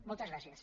moltes gràcies